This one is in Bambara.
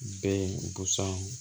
Be yen